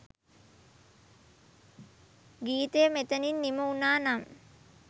ගීතය මෙතැනින් නිම වුනා නම්